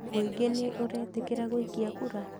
Mũingĩ nĩ ũretĩkĩra gũikia kura?